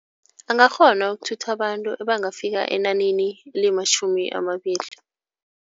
Angakghona ukuthutha abantu ebangafika enanini elimatjhumi amabili.